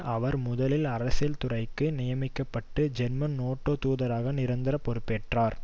அவர் முதலில் அரசியல்துறைக்கு நியமிக்க பட்டு ஜெர்மன் நேட்டோ தூதராக நிரந்தர பொறுப்பேற்றார்